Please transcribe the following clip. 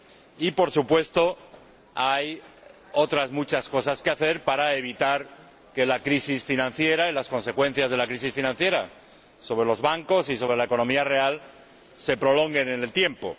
Y, por supuesto, hay otras muchas cosas que hacer para evitar que la crisis financiera y sus consecuencias sobre los bancos y sobre la economía real se prolonguen en el tiempo